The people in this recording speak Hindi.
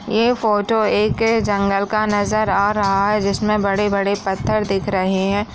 ये फोटो एक जंगल का नजर आ रहा हैं जिसमे बड़े-बड़े पत्थर दिख रहे हैं।